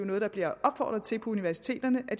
noget der bliver opfordret til på universiteterne at